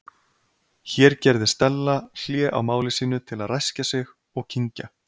Hér gerði Stella hlé á máli sínu til að ræskja sig og kyngja.